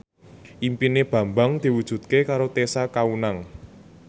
impine Bambang diwujudke karo Tessa Kaunang